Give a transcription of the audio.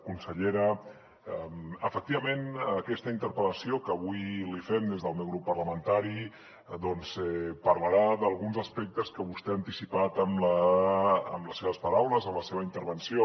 consellera efectivament aquesta interpel·lació que avui li fem des del meu grup parlamentari doncs parlarà d’alguns aspectes que vostè ha anticipat amb les seves paraules en la seva intervenció